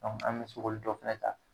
Dɔnku an be se k'olu dɔw fɛnɛ ta